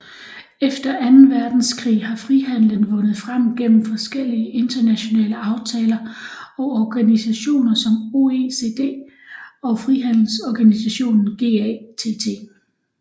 Efter anden verdenskrig har frihandelen vundet frem gennem forskellige internationale aftaler og organisationer som OECD og frihandelsorganisationen GATT